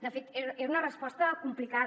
de fet era una resposta complicada